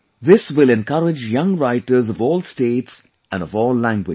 This will encourage young writers of all states and of all languages